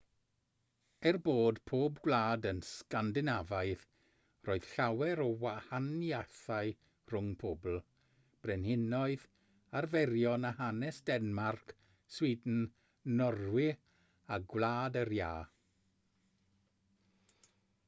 er bod pob gwlad yn sgandinafaidd roedd llawer o wahaniaethau rhwng pobl brenhinoedd arferion a hanes denmarc sweden norwy a gwlad yr iâ